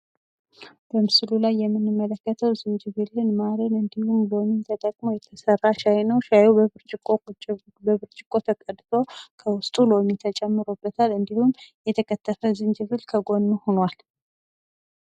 በምስሉ ላይ የምንመለከተው ዝጅብልን፣ ማርን እንዲሁም ሎሚን ተጠቅሞ የተሰራ ሻይ ነው። ሻይው በብርጭቆ ተገድቶ ከውስጡ ሎሚ ተጨምሮበታል እንዲሁም የተከተፈ ዝንጅብል ከጎኑ ሁኗል።